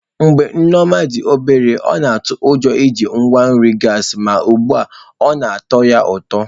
Mgbe Nneoma dị obere, ọ na-atụ ụjọ iji igwe nri gasi ma ugbu a ọ na-atọ ya ụtọ.